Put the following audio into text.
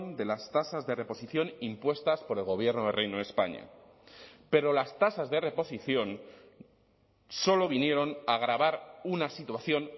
de las tasas de reposición impuestas por el gobierno del reino de españa pero las tasas de reposición solo vinieron a agravar una situación